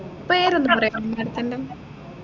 പേരൊന്നു പറയാമോ madam ത്തിന്റെ